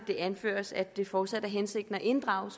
det anføres at det fortsat er hensigten at inddrage